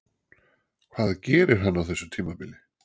Hvað gerir hann á þessu tímabili?